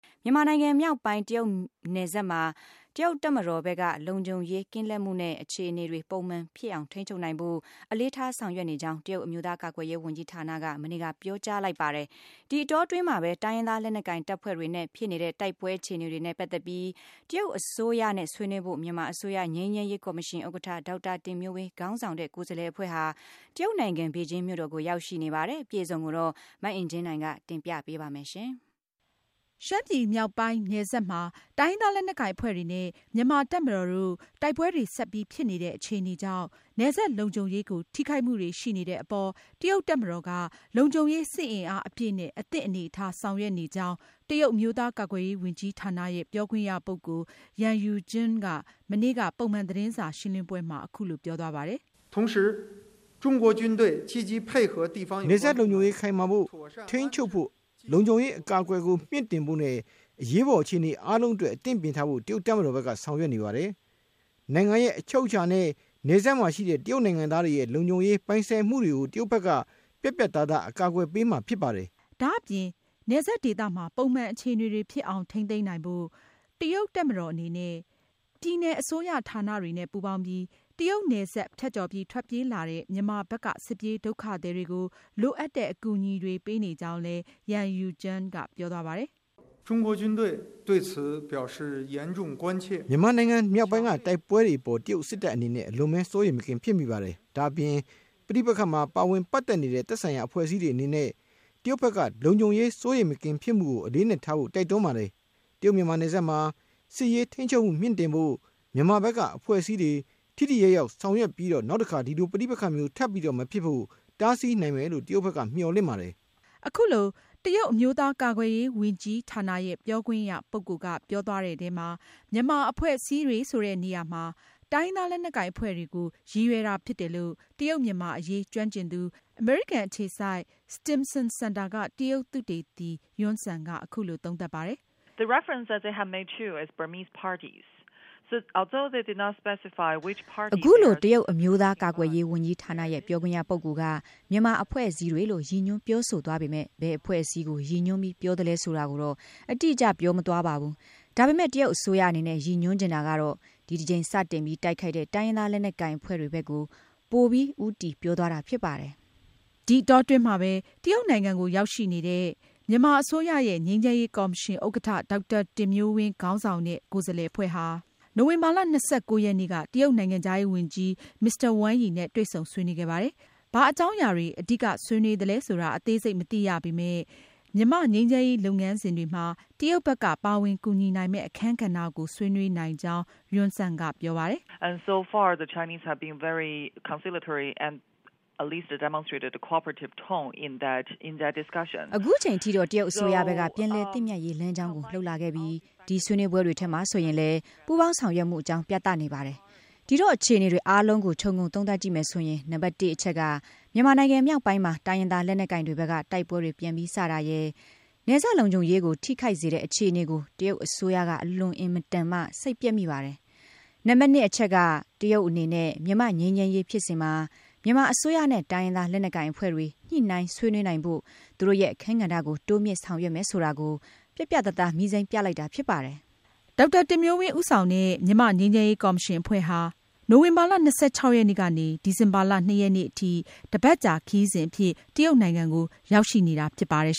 မြန်မာနိုင်ငံမြောက်ပိုင်း တရုတ်နယ်စပ်မှာ တရုတ်တပ်မတော်ဘက်က လုံခြုံရေး ကင်းလှည့်မှုနဲ့ အခြေအနေတွေ ပုံမှန်ဖြစ်အောင် ထိန်းချုပ်နိုင်ဖို့ အလေးထားဆောင်ရွက်နေကြောင်း တရုတ် အမျိုးသား ကာကွယ်ရေးဝန်ကြီးဌာနက မနေ့က ပြောကြားလိုက်ပါတယ်။ ဒီအတောအတွင်းမှာပဲ မြန်မာအစိုးရ ငြိမ်းချမ်းရေး ကော်မရှင်ဥက္ကဌ ဒေါက်တာ တင်မျိုးဝင်း ခေါင်းဆောင်တဲ့ ကိုယ်စားလှယ်အဖွဲ့ဟာ တရုတ်နိုင်ငံ ဘေဂျင်းမြို့တော်ကို ရောက်ရှိနေပြီး မြန်မာနိုင်ငံရဲ့ ငြိမ်းချမ်းရေးလုပ်ငန်းစဉ်တွေနဲ့ ပတ်သက်လို့ တရုတ်အစိုးရနဲ့ ဆွေးနွေးနေတာပါ။ အသေးစိတ်ကို မအင်ကြင်းနိုင် က တင်ပြထားပါတယ်။ ရှမ်းပြည်မြောက်ပိုင်း နယ်စပ်ဒေသမှာ တိုင်းရင်းသား လက်နက်ကိုင်အဖွဲ့တွေနဲ့ မြန်မာ့တပ်မတော်တို့ တိုက်ပွဲတွေဆက်ပြီး ဖြစ်နေတဲ့အခြေအနေကြောင့် နယ်စပ်လုံခြုံရေးကို ထိခိုက်မှုတွေရှိတဲ့အပေါ် တရုတ်တပ်မတော်က လုံခြုံရေး စစ်အင်အားအပြည့်နဲ့ အသင့်အနေအထား ဆောင်ရွက်နေကြောင်း တရုတ်အမျိုးသား ကာကွယ်ရေးဝန်ကြီးဌာနရဲ့ ပြောခွင့်ရပုဂ္ဂိုလ် Yang Yujun က မနေ့က ပုံမှန် သတင်းစာရှင်းလင်းပွဲမှာ အခုလို ပြောသွားပါတယ်။ “နယ်စပ်လုံခြုံရေး ခိုင်မာဖို့နဲ့ ထိန်းချုပ်ဖို့၊ လုံခြုံရေးအကာအကွယ်ကို မြှင့်တင်ဖို့နဲ့ အရေးပေါ် အခြေအနေ အားလုံးအတွက် အသင့်ပြင့်ထားဖို့ တရုတ်တပ်မတော်ဘက်က ဆောင်ရွက်နေပါတယ်။ နိုင်ငံရဲ့ အချုပ်အခြာနဲ့ နယ်စပ်မှာရှိတဲ့ တရုတ်နိုင်ငံသားတွေရဲ့ လုံခြုံရေး၊ ပိုင်ဆိုင်မှုတွေကို တရုတ်ဘက်က ပြတ်ပြတ်သားသား အကာအကွယ်ပေးမှာဖြစ်ပါတယ်။” ဒါ့အပြင် နယ်စပ်ဒေသမှာ ပုံမှန်အခြေအနေတွေဖြစ်အောင် ထိန်းသိမ်းနိုင်ဖို့ တရုတ်တပ်မတော်အနေနဲ့ ပြည်နယ် အစိုးရဌာနတွေနဲ့ ပူးပေါင်းပြီး တရုတ်နယ်စပ်ဖြတ်ကျော် ထွက်ပြေးလာတဲ့ မြန်မာဘက်က စစ်ပြေးဒုက္ခသည်တွေကို လိုအပ်တဲ့ အကူအညီတွေ ပေးနေကြောင်းလည်း Yang Yujun က ပြောသွားပါတယ်။ “မြန်မာနိုင်ငံ မြောက်ပိုင်းက တိုက်ပွဲတွေအပေါ်မှာ တရုတ်စစ်တပ်အနေနဲ့ အလွန်ပဲ စိုးရိမ်မကင်း ဖြစ်မိပါတယ်။ ဒါ့အပြင် ဒီပဋိပက္ခမှာ ပါဝင်ပတ်သက်နေတဲ့ သက်ဆိုင်ရာ အဖွဲ့အစည်းတွေအနေနဲ့ တရုတ်ဘက်က လုံခြုံရေးစိုးရိမ်မကင်းဖြစ်မှုကို အလေးအနက်ထားဖို့ တိုက်တွန်းပါတယ်။ တရုတ်-မြန်မာနယ်စပ်မှာ စစ်ရေးထိန်းချုပ်မှု မြှင့်တင်ဖို့ မြန်မာဘက်က အဖွဲ့အစည်းတွေ ထိထိရောက်ရောက် ဆောင်ရွက်ပြီးတော့ နောက်တခါ ဒီလိုပဋိပက္ခမျိုး ထပ်မဖြစ်ဖို့ တားဆီးနိုင်မယ်လို့ တရုတ်ဘက်က မျှော်လင့်ပါတယ်။” မြန်မာအဖွဲ့အစည်းတွေ ဆိုတဲ့နေရာမှာ တိုင်းရင်းသားလက်နက်ကိုင်အဖွဲ့တွေကို တရုတ်အစိုးရက ရည်ရွယ်တာဖြစ်တယ်လို့ တရုတ်-မြန်မာအရေး ကျွမ်းကျင်သူ အမေရိကန်အခြေစိုက် Stimson Center သုတေသနဌာနက တရုတ်သုတေသီ Yun Sun က အခုလို ပြောပါတယ်။ “အခုလို တရုတ်အမျိုးသား ကာကွယ်ရေးဝန်ကြီးဌာန ရဲ့ ပြောခွင့်ရ ပုဂ္ဂိုလ် က မြန်မာအဖွဲ့အစည်းတွေလို့ ရည်ညွန်းပြောဆိုသွားပေမဲ့ ဘယ်အဖွဲ့အ စည်းကို ရည်ရွယ်ပြီး ပြောသလဲဆိုတာကိုတော့ အတိအကျ ပြောမသွားပါဘူး။ ဒါပေမဲ့ တရုတ်အစိုးရအနေနဲ့ ရည်ညွန်းချင်တာကတော့ ဒီတကြိမ် စတင်ပြီး တိုက်ခိုက်တဲ့ တိုင်းရင်းသား လက်နက်ကိုင်အဖွဲ့တွေဘက်ကို ပိုပြီး ဦးတည် ပြောသွားတာဖြစ်ပါတယ်။” ဒီအတောအတွင်းမှာပဲ တရုတ်နိုင်ငံကို ရောက်ရှိနေတဲ့ မြန်မာအစိုးရရဲ့ ငြိမ်းချမ်းရေးကော်မရှင်ဥက္ကဌ ဒေါက်တာတင်မျိုးဝင်း ခေါင်းဆောင်တဲ့ ကိုယ်စားလှယ်အဖွဲ့ဟာ နိုဝင်ဘာလ ၂၉ ရက်နေ့က တရုတ်နိုင်ငံခြားရေးဝန်ကြီး Mr. Wang Yi နဲ့ တွေ့ဆုံဆွေးနွေးခဲ့ပါတယ်။ ဘာအကြောင်းအရာတွေ အဓိက ဆွေးနွေးသလဲဆိုတာ အသေးစိတ်မသိရပေမဲ့ မြန်မာ့ငြိမ်းချမ်းရေး လုပ်ငန်းစဉ်တွေမှာ တရုတ်ဘက်က ပါဝင်ကူညီနိုင်မယ့် အခန်းကဏ္ဍကို ဆွေးနွေးနိုင်ကြောင်း Yun Sun က ပြောပါတယ်။ “အခုချိန်ထိတော့ တရုတ်အစိုးရဘက်က ပြန်လည်သင့်မြတ်ရေး လမ်းကြောင်းကို လုပ်လာခဲ့ပြီး ဒီဆွေးနွေးပွဲတွေထဲမှာဆိုရင်လည်း ပူးပေါင်းဆောင် ရွက်ေ နေ ကြာင်း ပြသနေပါတယ်။ ဒီတော့ အခြေအနေတွေ အားလုံးကို ခြုံငုံ သုံးသပ်ကြည့်မယ်ဆိုရင် နံပါတ် အချက်က မြန်မာနိုင်ငံ မြောက်ပိုင်းမှာ တိုင်းရင်းသား လက်နက်ကိုင်တွေဘက်က တိုက်ပွဲတွေပြန်ပြီး စတင်တိုက်ခိုက်တဲ့အတွက် နယ်စပ်လုံခြုံရေးကို ထိခိုက်စေတဲ့ အခြေအနေကို တရုတ်အစိုးရက အလွန်အင်မတန်မှ စိတ်ပျက်မိတာ၊ နောက် နံပါတ် အချက်က တရုတ်အနေနဲ့ မြန်မာ့ငြိမ်းချမ်းရေးဖြစ်စဉ်မှာ မြန်မာအစိုးရနဲ့ တိုင်းရင်းသားလက်နက်ကိုင်အဖွဲ့တွေ ညှိနှိုင်းဆွေးနွေးနိုင်ဖို့ သူတို့ရဲ့အခန်းကဏ္ဍကို တိုးမြှင့်ဆောင်ရွက်မယ်ဆိုတာကို ပြတ်ပြတ်သားသား မီးစိမ်းပြလိုက်တာဖြစ်တယ်။” ဒေါက်တာ တင်မျိုးဝင်းဦးဆောင်တဲ့ မြန်မာ့ငြိမ်းချမ်းရေးကော်မရှင် အဖွဲ့ဟာ နိုဝင်ဘာလ ၂၆ ရက်နေ့ကနေ ဒီဇင်ဘာလ ၂ ရက်နေ့အထိ တပတ်ကြာခရီးစဉ်အဖြစ် တရုတ်နိုင်ငံကို ရောက်ရှိနေတာ ဖြစ်ပါတယ်